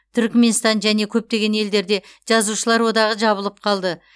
түрікменстан және көптеген елдерде жазушылар одағы жабылып қалды